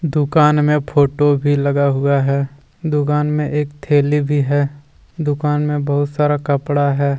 दुकान मे फोटो भी लगा हुआ है दुकान मे एक थैली भी है दुकान मे बहुत सारा कपडा है।